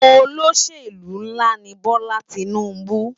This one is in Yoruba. Ólóṣélú nlá ni Bola Tinubu